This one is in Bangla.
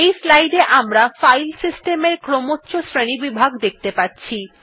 এই স্লাইড এ আমরা ফাইল সিস্টেমের ক্রমোচ্চ শ্রেণীবিভাগ দেখতে পাচ্ছি